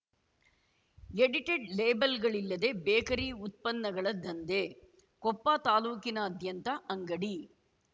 edited ಲೇಬಲ್‌ಗಳಿಲ್ಲದೆ bakery ಉತ್ಪನ್ನಗಳ ದಂಧೆ ಕೊಪ್ಪ ತಾಲೂಕಿನಾದ್ಯಂತ ಅಂಗಡಿ